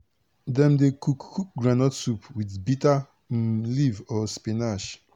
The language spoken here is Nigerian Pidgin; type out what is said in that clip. dem dey cook cook groundnut soup with bitter um leaf or spinach